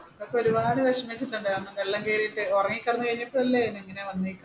ഒരുപാട് വിഷമിച്ചിട്ടുണ്ട് കാരണം വെള്ളം കയറിയിട്ട്